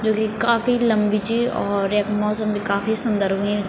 जू की काफी लम्बी च और यख मौसम भी काफी सुन्दर हुयुं।